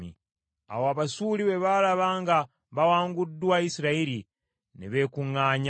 Awo Abasuuli bwe baalaba nga bawanguddwa Isirayiri, ne beekuŋŋaanya.